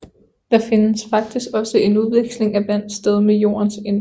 Der finder faktisk også en udveksling af vand sted med jordens indre